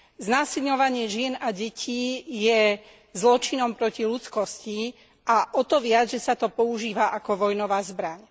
Znásilňovanie žien a detí je zločinom proti ľudskosti a o to viac, že sa to používa ako vojnová zbraň.